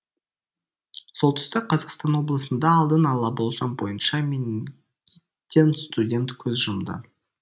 солтүстік қазақстан облысында алдын ала болжам бойынша менингиттен студент көз жұмды